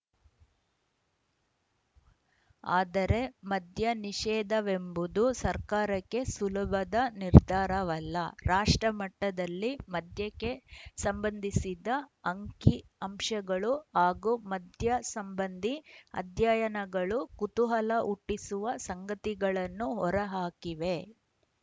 ಆದರೆ ಮದ್ಯ ನಿಷೇಧವೆಂಬುದು ಸರ್ಕಾರಕ್ಕೆ ಸುಲಭದ ನಿರ್ಧಾರವಲ್ಲ ರಾಷ್ಟ್ರಮಟ್ಟದಲ್ಲಿ ಮದ್ಯಕ್ಕೆ ಸಂಬಂಧಿಸಿದ ಅಂಕಿ ಅಂಶಗಳು ಹಾಗೂ ಮದ್ಯಸಂಬಂಧಿ ಅಧ್ಯಯನಗಳು ಕುತೂಹಲ ಹುಟ್ಟಿಸುವ ಸಂಗತಿಗಳನ್ನು ಹೊರಹಾಕಿವೆ